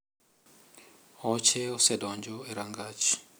Oche osedonjo e rangach.